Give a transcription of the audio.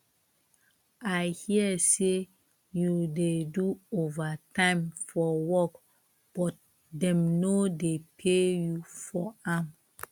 i hear say you dey do overtime for work but dem no dey pay you for am